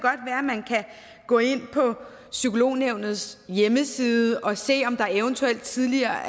gå ind på psykolognævnets hjemmeside og se om der eventuelt tidligere